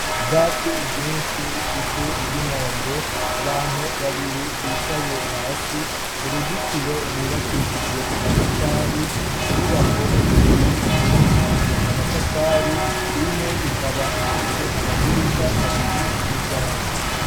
Ubwatsi bwinshi, ivu ry'inombe abantu babiri bicaye hasi, uruzitiro rwubakishijwe amatafari .inyubako zibiri zubakishijwe amatafari imwe ikaba ifise amadirisha abiri n'umuryango.